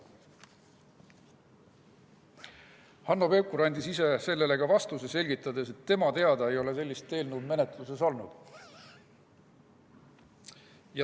Hanno Pevkur andis ise sellele ka vastuse, selgitades, et tema teada ei ole sellist eelnõu menetluses olnud.